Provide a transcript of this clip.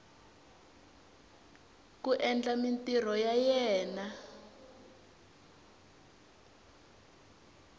ku endla mintirho ya yena